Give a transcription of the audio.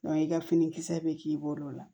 i ka finikisɛ bɛ k'i bolo la